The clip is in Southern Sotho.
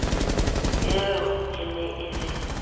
eo e ne e le